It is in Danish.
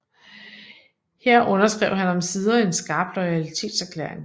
Her underskrev han omsider en skarp loyalitetserklæring